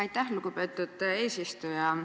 Aitäh, lugupeetud eesistuja!